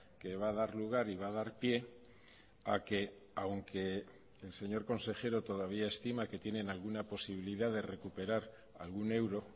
que va a dar lugar y va a dar pie a que aunque el señor consejero todavía estima que tienen alguna posibilidad de recuperar algún euro